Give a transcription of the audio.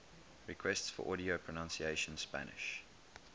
requests for audio pronunciation spanish